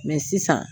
sisan